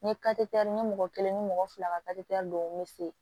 N ye n ye mɔgɔ kelen ni mɔgɔ fila ka dɔw fe yen